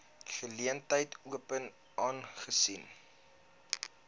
geleentheid open aangesien